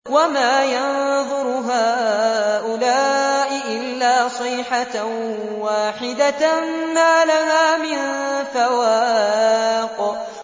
وَمَا يَنظُرُ هَٰؤُلَاءِ إِلَّا صَيْحَةً وَاحِدَةً مَّا لَهَا مِن فَوَاقٍ